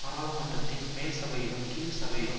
பாராளுமன்றத்தின் மேல் சபையிலும் கீழ்சபையிலும்